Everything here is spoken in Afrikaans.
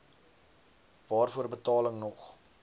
waarvoor betaling nog